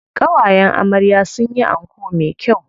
Ƙawayen amarya sun yi anko me kyau.